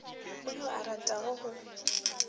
go yo a ratago go